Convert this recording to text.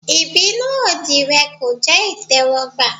Ìbínú òdì rẹ̀ kò jẹ́ ìtẹ́wọ́gbà.